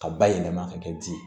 Ka bayɛlɛma ka kɛ ji ye